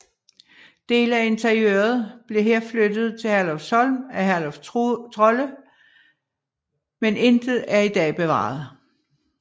Dele af interiøret blev her flyttet til Herlufsholm af Herluf Trolle men intet er i dag bevaret